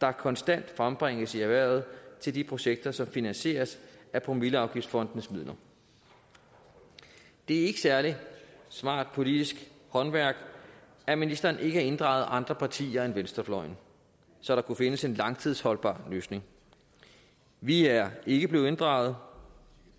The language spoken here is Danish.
der konstant frembringes i erhvervet til de projekter som finansieres af promilleafgiftsfondenes midler det er ikke særlig smart politisk håndværk at ministeren ikke har inddraget andre partier end venstrefløjen så der kunne findes en langtidsholdbar løsning vi er ikke blevet inddraget